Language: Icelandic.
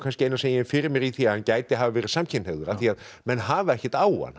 eina sem ég hef fyrir mér í því að hann gæti hafa verið samkynhneigður af því menn hafa ekkert á hann hann